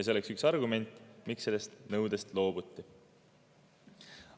See on üks argument, miks sellest nõudest loobuti.